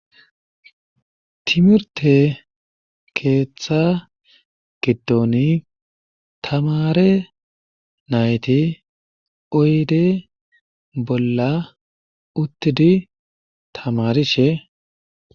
timirte keeththa gidni tamare oyde bolla uttidi tamarishe